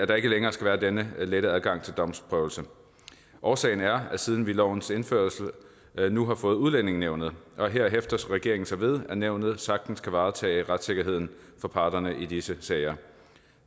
der ikke længere skal være denne lette adgang til domsprøvelse årsagen er vi siden lovens indførelse nu har fået udlændingenævnet her hæfter regeringen sig ved at nævnet sagtens kan varetage retssikkerheden for parterne i disse sager